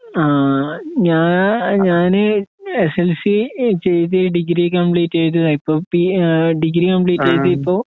ആഹ് ഞാ ഞാന് എസ്എൽസി എചെയ്ത് ഡിഗ്രികംപ്ലീറ്റ് ചെയ്തതാ ഇപ്പൊ പി ഡിഗ്രികംപ്ലീറ്റ് ചെയ്‌തിപ്പൊ